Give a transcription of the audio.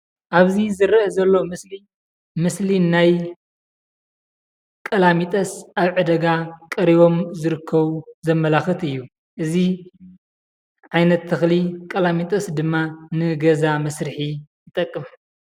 ኣብዚ ዝረአ ዘሎ ምስሊ ምስሊ ናይ ቀላሚጦስ ኣብ ዕዳጋ ቀሪቦም ዝርከቡ ዘመላክት እዩ። እዚ ዓይነት ተክሊ ቀላሚጦስ ድማ ንገዛ መስርሒ ይጠቀም።